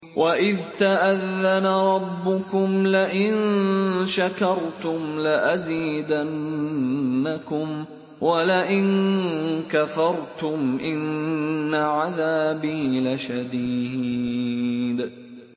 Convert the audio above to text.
وَإِذْ تَأَذَّنَ رَبُّكُمْ لَئِن شَكَرْتُمْ لَأَزِيدَنَّكُمْ ۖ وَلَئِن كَفَرْتُمْ إِنَّ عَذَابِي لَشَدِيدٌ